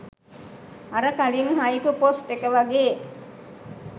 අර කලින් haiku post එක වගේ